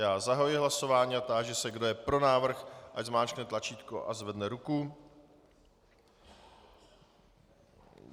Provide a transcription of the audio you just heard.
Já zahajuji hlasování a táži se, kdo je pro návrh, ať zmáčkne tlačítko a zvedne ruku.